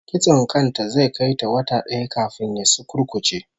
Kitson kan ta zai kai wata daya kafin ya sukurkuce